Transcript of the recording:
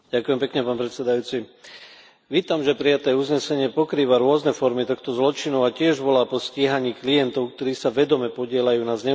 Vítam, že prijaté uznesenie pokrýva rôzne formy tohto zločinu a tiež volá po stíhaní klientov, ktorí sa vedome podieľajú na zneužívaní obetí obchodovania s ľuďmi.